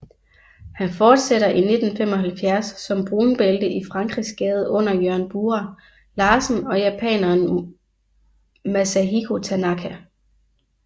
Han fortsætter i 1975 som brunbælte i Frankrigsgade under Jørgen Bura Larsen og japaneren Masahiko Tanaka